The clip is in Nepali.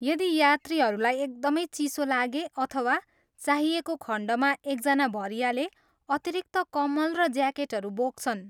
यदि यात्रीहरूलाई एकदमै चिसो लागे अथवा चाहिएको खण्डमा एकजना भरियाले अतिरिक्त कम्मल र ज्याकेटहरू बोक्छन्।